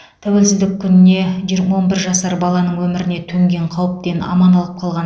тәуелсіздік күніне же он бір жасар баланың өміріне төнген қауіптен аман алып қалған